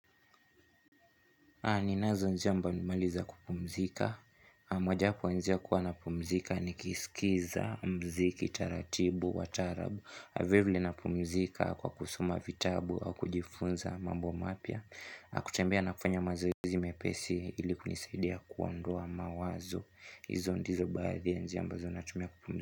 Ninazo njia mbalimbali za kupumzika. Mojawapo ya njia kuwa napumzika nikisikiza mziki taratibu, wa tarabu. Vilevile napumzika kwa kusoma vitabu au kujifunza mambo mapya. Nakutembea na kufanya mazoezi mepesi ili kunisaidia kuondoa mawazo. Izo ndizo baadhi ya njia ambazo natumia kupumzika.